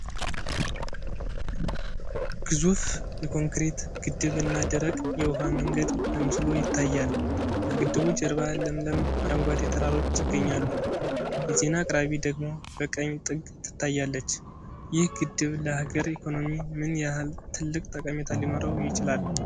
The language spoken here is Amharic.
ግዙፍ የኮንክሪት ግድብ እና ደረቅ የውሃ መንገድ በምስሉ ይታያል። ከግድቡ ጀርባ ለምለም አረንጓዴ ተራሮች ይገኛሉ፤ የዜና አቅራቢ ደግሞ በቀኝ ጥግ ትታያለች። ይህ ግድብ ለሃገር ኢኮኖሚ ምን ያህል ትልቅ ጠቀሜታ ሊኖረው ይችላል?